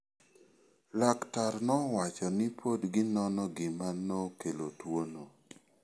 Laktar nowacho ni pod ginono gima nokelo tuwono.